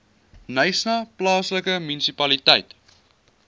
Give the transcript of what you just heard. knysna plaaslike munisipaliteit